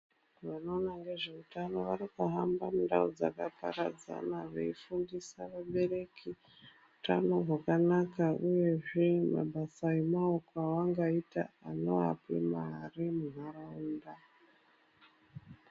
Wanoona ngezveutano wakatohamba mundau dzakaparadzana weifundisa wabereki utano hwakanaka uyezve mabasa emaoko awangaita awanopa mari munharaunda.